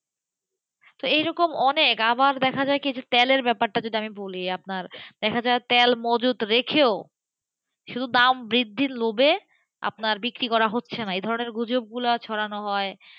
তো এই রকম অনেক আবার দেখা যায় তেলের ব্যাপারটা যদি আমি বলি দেখা যায় তেল মজুদ রেখেও, শুধু দাম বৃদ্ধির লোভে, আপনার বিক্রি করা হচ্ছে না এই ধরনের গুজবগুলো ছরানো হয়,